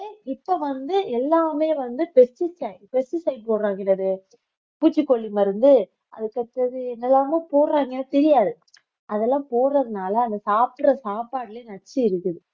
இப்ப வந்து எல்லாமே வந்து pesticide pesticide பூச்சிக்கொல்லி மருந்து அதுக்கடுத்தது என்னெல்லாமோ போடுறாங்க தெரியாது அதெல்லாம் போடுறதுனால அது சாப்பிடுற சாப்பாட்டுலயே நச்சு இருக்குது